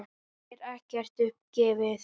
Hér er ekkert upp gefið.